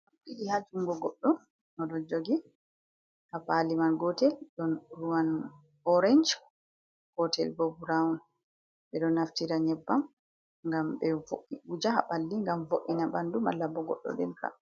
Ɗiɗi haa jungo goɗɗo oɗo jogi. Haa paali man, gootel ɗon ruwan 'orange', gootel bo 'brown'. Ɓe ɗo naftira nƴebbam ngam ɓe wuuja haa ɓalli ngam vo’ina ɓandu malla bo goɗɗo ɗelka.